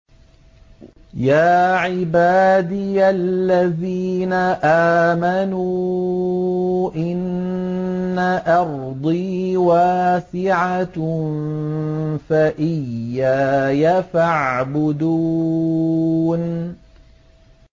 يَا عِبَادِيَ الَّذِينَ آمَنُوا إِنَّ أَرْضِي وَاسِعَةٌ فَإِيَّايَ فَاعْبُدُونِ